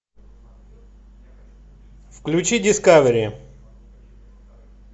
включи дискавери